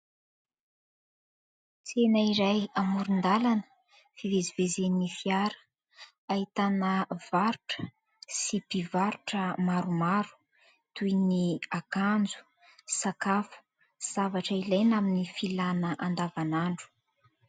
Tsena iray amoron-dalana, fivezivezen'ny fiara, ahitana varotra sy mpivarotra maromaro, toy ny : akanjo, sakafo, zavatra ilaina amin'ny filàna andavan'andro...